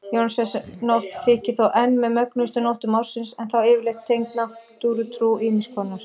Jónsmessunótt þykir þó enn með mögnuðustu nóttum ársins en þá yfirleitt tengd náttúrutrú ýmiss konar.